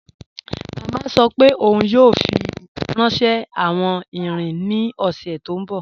Mama sọ́ pé óun yóò fi ránṣẹ̀ awọn ìrìn ní ọṣẹ̀ tó nbọ̀.